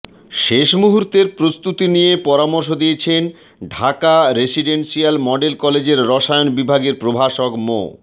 শেষ মুহূর্তের প্রস্তুতি নিয়ে পরামর্শ দিয়েছেন ঢাকা রেসিডেনসিয়াল মডেল কলেজের রসায়ন বিভাগের প্রভাষক মো